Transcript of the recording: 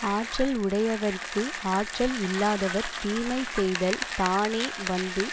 ஆற்றல் உடையவர்க்கு ஆற்றல் இல்லாதவர் தீமை செய்தல் தானே வந்து